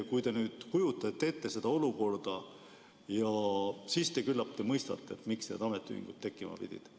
Kui te kujutate ette seda olukorda, siis te küllap mõistate, miks ametiühingud tekkima pidid.